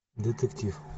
детектив